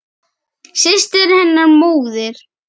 Systir hennar, móðir